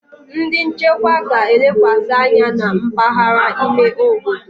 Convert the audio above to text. Ndi nchekwa ga-elekwasị anya na mpaghara ime obodo.